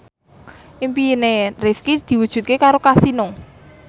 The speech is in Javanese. impine Rifqi diwujudke karo Kasino